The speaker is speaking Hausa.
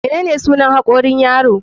Menene sunan hakorin yaro?